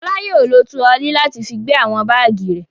Fọlá yóò lọ turọlí láti fi gbé àwọn báágì rẹ̀.